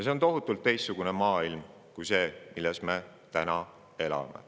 See oleks tohutult teistsugune maailm kui see, milles me täna elame.